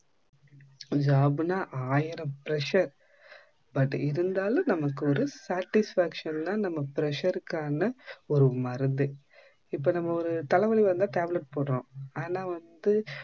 job னா ஆயிரம் pressure but இருந்தாலும் நம்மக்கு ஒரு satisfaction தான் நம்ம pressure காண ஒரு மருந்து. இப்ப நம்ம ஒரு தல வலி வந்தா tablet போடுறோம், ஆன வந்து